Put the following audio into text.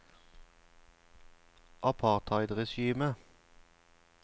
apartheidregimet